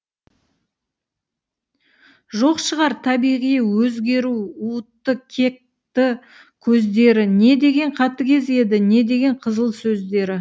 жоқ шығар табиғи өзгеру уытты кекті көздері не деген қатігез еді не деген қызыл сөздері